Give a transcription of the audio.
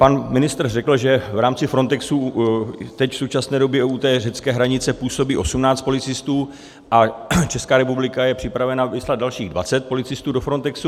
Pan ministr řekl, že v rámci Frontexu teď v současné době u té řecké hranice působí 18 policistů a Česká republika je připravena vyslat dalších 20 policistů do Frontexu.